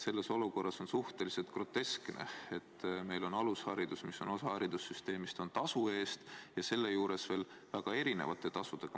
Selles olukorras on suhteliselt groteskne, et meil on alusharidus, mis on osa haridussüsteemist, tasu eest ja seejuures veel väga erineva tasuga.